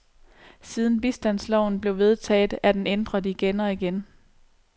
Siden bistandsloven blev vedtaget, er den ændret igen og igen.